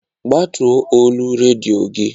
Ggbatuo olu redio gị!